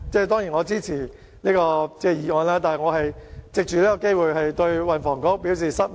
當然，我是支持這項議案的，但我想藉此機會對運輸及房屋局表示失望。